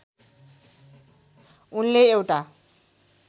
उनले एउटा